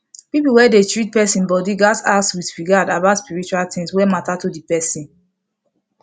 people wey dey treat person body gatz ask with regard about spiritual things wey matter to the person